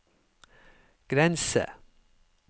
grense